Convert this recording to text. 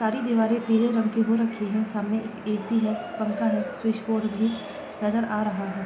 सारी दीवारें पिले रंग के हो रखी है | सामने ए.सी. र पंखा है स्विच बोर्ड भी नजर आ रहा है |